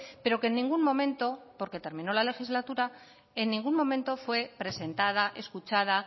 pero que en ningún momento porque terminó la legislatura fue presentada escuchada